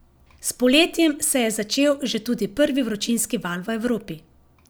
S poletjem se je začel že tudi prvi vročinski val v Evropi.